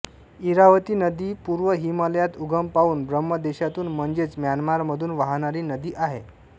इरावती नदी पूर्व हिमालयात उगम पावून ब्रह्मदेशातून म्हणजेच म्यानमारमधून वाहणारी नदी आहे